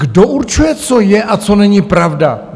Kdo určuje, co je a co není pravda?